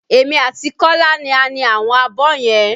Èmi àti Kola ni a ni àwọn abọ́ yẹn